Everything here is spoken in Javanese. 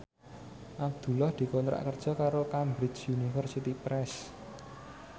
Abdullah dikontrak kerja karo Cambridge Universiy Press